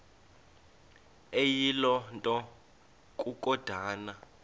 eyiloo nto kukodana